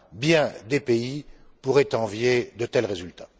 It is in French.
Bien des pays pourraient envier de tels résultats.